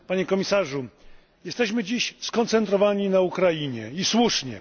Panie Komisarzu! Jesteśmy dziś skoncentrowani na Ukrainie, i słusznie.